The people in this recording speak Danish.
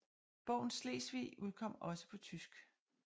Bogen Slesvig udkom også på tysk